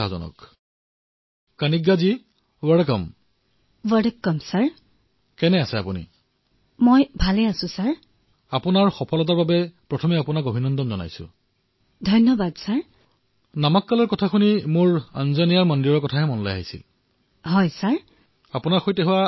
আচ্ছা কৃতিকা হাৰিয়ানা সমগ্ৰ ভাৰতৰ ভিতৰতে খেলধেমালিত আগবঢ়া